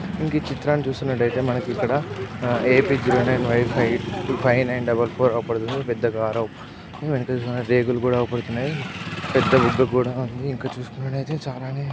ఇంకా ఈ చిత్రాన్ని చూసినట్టు అయితే మనకు ఇక్కడ A P zero nine Y wife five nine double four పెద్ద కార్ వెంకటేశ్వర స్వామి రేకులు కూడా అగుపడుతున్నాయి. పెద్ద వుడ్ కూడా ఉంది. ఇంకా చూసినట్లయితే చాలానే--